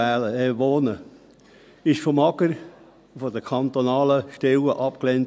Das wurde vom Amt für Gemeinden und Raumplanung (AGR) und anderen kantonalen Stellen abgelehnt.